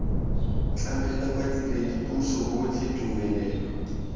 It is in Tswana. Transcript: tlamela badiredi puso botlhe tumelelo